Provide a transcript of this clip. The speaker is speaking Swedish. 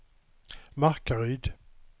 Markaryd